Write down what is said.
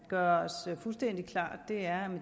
gøre os fuldstændig klart er at